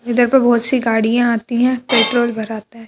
इधर पर बहुत सी गाड़ियां आती हैं पेंट्रोल भराता है।